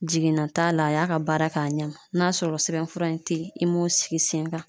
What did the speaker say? Jiginna t'a la, a y'a ka baara kɛ ka ɲa . N'a sɔrɔ sɛbɛn fura in te yen, i m'o sigi sen kan.